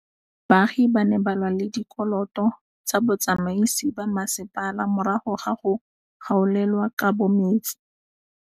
Baagi ba ne ba lwa le ditokolo tsa botsamaisi ba mmasepala morago ga go gaolelwa kabo metsi